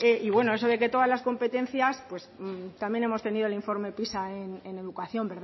y bueno eso de que todas las competencias pues también hemos tenido el informe pisa en educación